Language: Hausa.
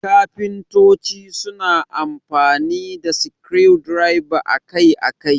Kafintoci suna amfani da screwdrivers akai-akai.